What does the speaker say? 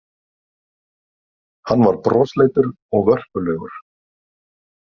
Hann var brosleitur og vörpulegur.